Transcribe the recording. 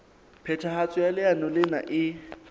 phethahatso ya leano lena e